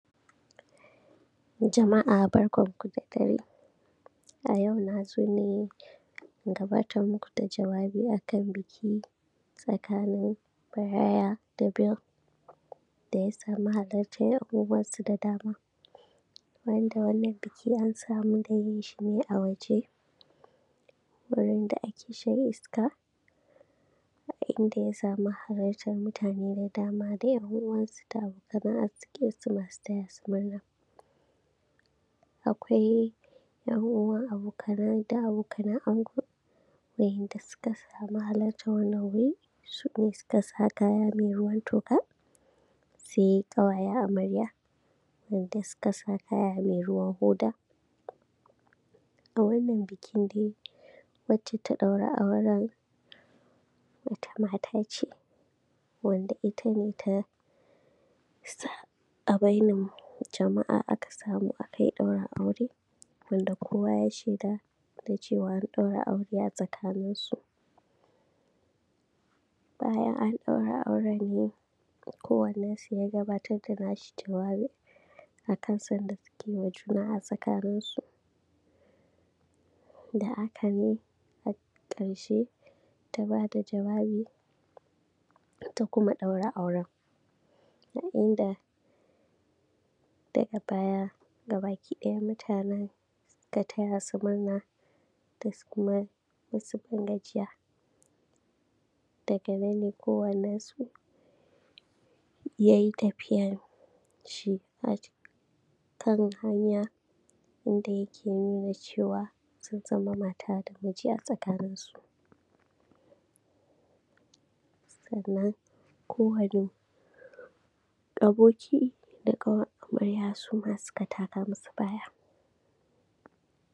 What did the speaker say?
jama’a barkanku da dare a yau na zo ne in gabatar muku da jawabi a kan biki tsakanin bryan da bill da ya samu halartar abubuwansu da dama wanda wannan biki an samu dai yin shi ne a waje wurin da ake shan iska a inda ya samu halartar mutane da dama da ‘yan uwansu da abokanan arzikinsu masu taya su murna akwai abubuwa da abokanan ango waɗanda suka samu halartar wannan guri su ne suka sa kaya mai ruwan toka sai ƙawayen amarya waɗanda suka sa kaya mai ruwan hoda a wannan bikin dai wacce ta ɗaura auren a wannan bikin dai wacce ta ɗaura auren sa a bainar jama’a aka samu aka yi ɗaurin aure wanda kowa ya shaida da cewar an ɗaura aure a tsakaninsu bayan an ɗaura auren ne kowannensu ya gabatar da naci jawabin a kan son da suke wa juna a tsakaninsu da aka yi har ƙarshe ta ba da jawabi ta kuma ɗaura auren a inda daga baya gabaki ɗaya mutanen suka taya su murna da kuma wasu ban gajiya daga nan ne kowannensu ya yi tafiyan shi a kan hanya wanda yake nuna cewa sun zama mata da miji a tsakanin sannan kowane aboki da ƙawar amarya su ma suka taka musu baya.